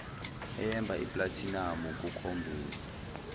eyemba iplathinamu kokhombisa